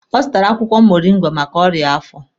Ọ zụtara akwụkwọ moringa maka ọrịa afọ.